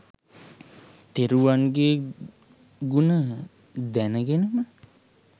තෙරුවන්ගේ ගුණ දැනගෙනම